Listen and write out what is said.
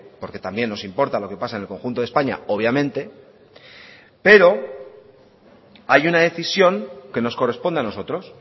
porque también nos importa lo que pasa en el conjunto de españa obviamente pero hay una decisión que nos corresponde a nosotros